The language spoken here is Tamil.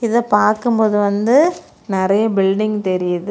இத பாக்கும் போது வந்து நெறைய பில்டிங் தெரியுது.